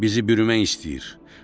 Bizi bürümək istəyir.